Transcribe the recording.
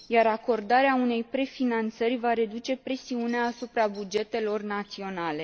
Iar acordarea unei prefinanțări va reduce presiunea asupra bugetelor naționale.